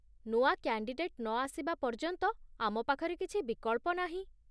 ନୂଆ କ୍ୟାଣ୍ଡିଡେଟ୍ ନ ଆସିବା ପର୍ଯ୍ୟନ୍ତ ଆମ ପାଖରେ କିଛି ବିକଳ୍ପ ନାହିଁ ।